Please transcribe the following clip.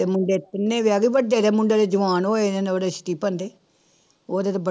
ਤੇ ਮੁੰਡੇ ਤਿੰਨੇ ਵਿਆਹ ਤੇ, ਵੱਡੇ ਦੇ ਮੁੰਡੇ ਦੇ ਜਵਾਨ ਹੋਏ ਉਹਦੇ ਸਟੀਫਨ ਦੇ, ਉਹਦੇ ਤੇ ਬੜੇ